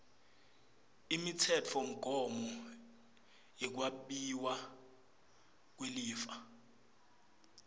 imitsetfomgomo yekwabiwa kwelifa